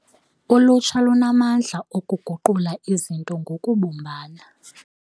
Ulutsha lunamandla okuguqula izinto ngokubumbana.